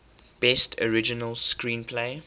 best original screenplay